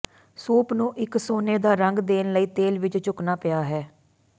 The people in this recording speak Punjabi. ਸੂਪ ਨੂੰ ਇੱਕ ਸੋਨੇ ਦਾ ਰੰਗ ਦੇਣ ਲਈ ਤੇਲ ਵਿੱਚ ਝੁਕਣਾ ਪਿਆ ਹੈ